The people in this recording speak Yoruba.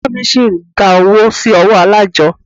Ìyá mí ṣi ń dá owó sí ọwọ́ alájọ́.